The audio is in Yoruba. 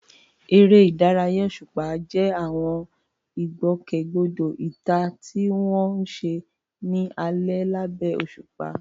Eré ìdárayá òṣùpá jẹ́ àwọn ìgbòkègbodò ìta tí wọ́n ń ṣe ní alẹ́ lábẹ́ òṣùpá.